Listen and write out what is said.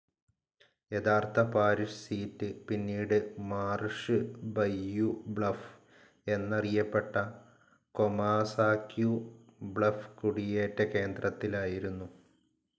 യഥാർത്ഥ parish seat, പിന്നീട് Marsh Bayou Bluff എന്നറിയപ്പെട്ട കൊമാസാക്യു ബ്ലഫ്‌ കുടിയേറ്റ കേന്ദ്രത്തിലായിരുന്നു.